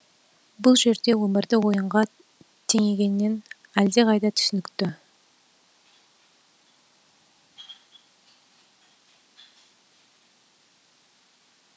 бұл жерде өмірді ойынға теңегеннен әлдеқайда түсінікті